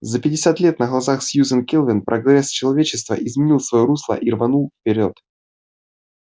за пятьдесят лет на глазах сьюзен кэлвин прогресс человечества изменил своё русло и рванул вперёд